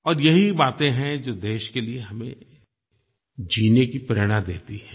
और यही बातें हैं जो देश के लिये हमें जीने की प्रेरणा देती हैं